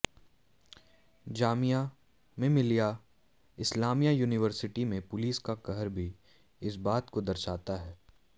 Jamia Millia Islamia university में police का कहर भी इसी बात को दर्शाता है